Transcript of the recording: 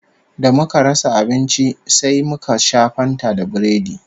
Da muka rasa abinci sai muka sha Fanta da Biredi